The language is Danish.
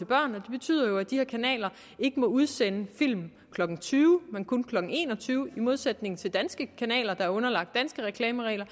børn det betyder jo at de her kanaler ikke må udsende film klokken tyve men kun klokken en og tyve i modsætning til danske kanaler der er underlagt danske reklameregler